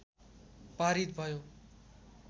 पारित भयो